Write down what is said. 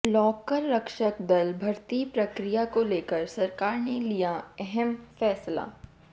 लोकरक्षक दल भर्ती प्रक्रिया को लेकर सरकार ने लिया यह अहम फैसला